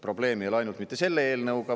Probleem ei ole mitte ainult selle eelnõuga.